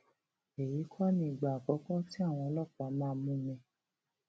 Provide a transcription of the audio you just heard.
èyí kọ nìgbà àkọkọ tí àwọn ọlọpàá máa mú mi